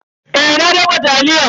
Eh na dafa taliyar.